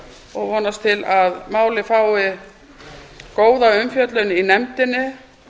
og vonast til að málið fái góða umfjöllun í nefndinni